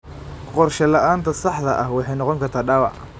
Qorshe la'aanta saxda ah waxay noqon kartaa dhaawac.